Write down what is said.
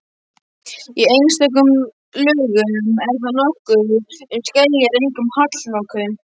Í einstökum lögum er þar nokkuð um skeljar, einkum hallloku.